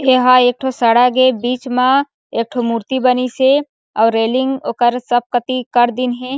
एहा एकठो सड़क ऐ बिच म एकठो मूर्ति बनीसे अउ रेलिंग ओकर सब कती कर दीन हे।